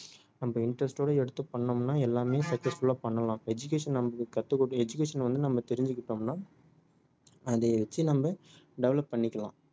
நம்ம interest ஓட எடுத்து பண்ணோம்னா எல்லாமே successful ஆ பண்ணலாம் education நாம education வந்து நம்ம தெரிஞ்சுகிட்டோம்னா அதை வச்சி நாம் develop பண்ணிக்கலாம்